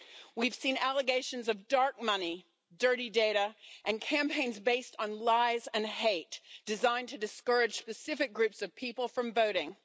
We've seen allegations of dark money, dirty data and campaigns based on lies and hate, designed to discourage specific groups of people from voting.